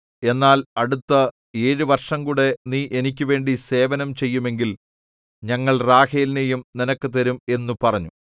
എന്നാൽ അടുത്ത് ഏഴു വർഷംകൂടി നീ എനിക്കുവേണ്ടി സേവനം ചെയ്യുമെങ്കിൽ ഞങ്ങൾ റാഹേലിനേയും നിനക്ക് തരും എന്നു പറഞ്ഞു